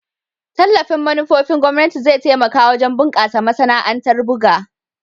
Tallafin manufofin gwamnati zai taimaka wajen bunkasa masana'antar buga.